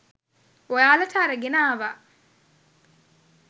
ඔයාලට අරගෙන ආවා.